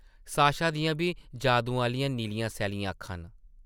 Sasha दियां बी जादू आह्लियां नीलियां-सैल्लियां अक्खां न ।